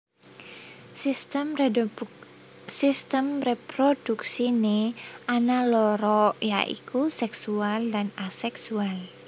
Sistem réprodhuksiné ana loro ya iku séksual lan aséksual